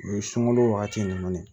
O ye sunkalo wagati ninnu de ye